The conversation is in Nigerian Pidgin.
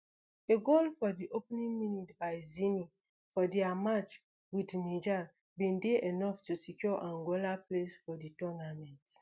a goal for di opening minute by zini for dia match with niger bin dey enough to secure angola place for di tournament